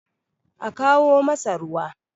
a kawo masa ruwa!